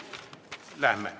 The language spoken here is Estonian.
Lähme.